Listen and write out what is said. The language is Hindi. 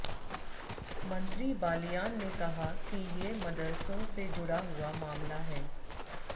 मंत्री बालियान ने कहा कि ये मदरसों से जुड़ा हुआ मामला है